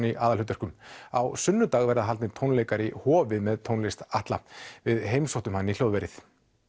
í aðalhlutverkum á sunnudag verða haldnir tónleikar í Hofi með tónlist Atla við heimsóttum hann í hljóðverið